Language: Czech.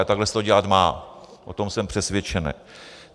A takhle se to dělat má, o tom jsem přesvědčen.